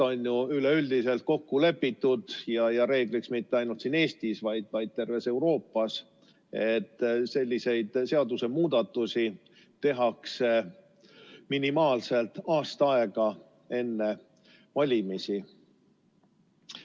On ju üleüldiselt kokku lepitud ja reegliks saanud mitte ainult siin Eestis, vaid terves Euroopas, et selliseid seadusemuudatusi tehakse minimaalselt aasta aega enne valimisi.